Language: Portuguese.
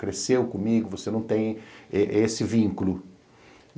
cresceu comigo, você não tem esse vínculo.